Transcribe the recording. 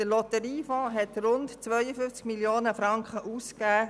Der Lotteriefonds hat rund 52 Mio. Franken ausgegeben.